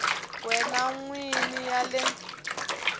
wena n wini ya le